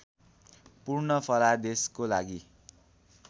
पूर्ण फलादेशको लागि